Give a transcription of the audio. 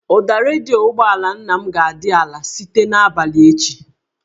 Ụda redio ụgbọala nna m ga-adị ala site n'abalị a